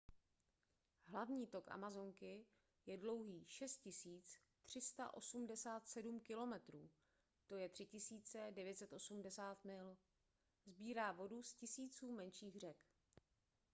hlavní tok amazonky je dlouhý 6 387 km 3 980 mil. sbírá vodu z tisíců menších řek